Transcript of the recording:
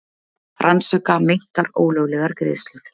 Rannsaka meintar ólöglegar greiðslur